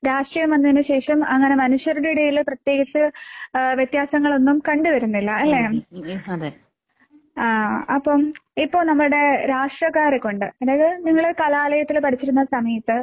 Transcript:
രാഷ്ട്രീയം വന്നതിന് ശേക്ഷം അങ്ങനെ മനുഷ്യരുടെ ഇടയില് പ്രത്യേകിച്ച് ഏഹ് വ്യത്യാസങ്ങളൊന്നും കണ്ടുവരുന്നില്ല അല്ലേ? ആഹ് അപ്പം ഇപ്പൊ നമ്മുടെ രാഷ്ട്രിയക്കാരെക്കൊണ്ട് അതായത് നിങ്ങള് കലാലയത്തില് പഠിച്ചിരുന്ന സമയത്ത്